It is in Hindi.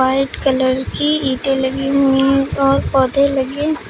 व्हाइट कलर की ईटें लगी हुई हैं और पौधे लगे--